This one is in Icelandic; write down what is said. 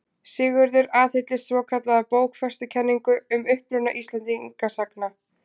Sigurður aðhylltist svokallaða bókfestukenningu um uppruna Íslendinga sagna.